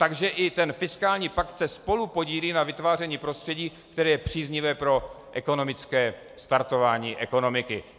Takže i ten fiskální pakt se spolupodílí na vytváření prostředí, které je příznivé pro ekonomické startování ekonomiky.